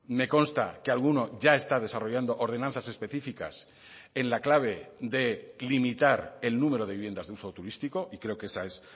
me consta que alguno ya está desarrollando ordenanzas específicas en la clave de limitar el número de viviendas de uso turístico y creo que esa es